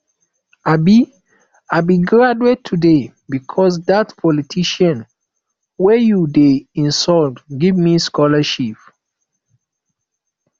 i be i be graduate today because dat politician wey you dey insult give me scholarship